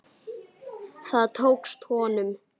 Það tókst honum.